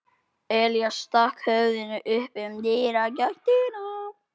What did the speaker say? Elías stakk höfðinu inn um dyragættina.